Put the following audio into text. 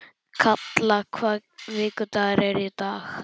Kalla, hvaða vikudagur er í dag?